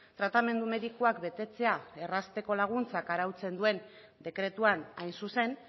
tratamendu medikuak betetzea errazteko laguntzak arautzen duen dekretuan hain zuzen